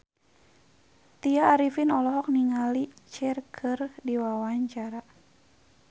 Tya Arifin olohok ningali Cher keur diwawancara